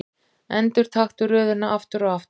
Endurtaktu röðina aftur og aftur.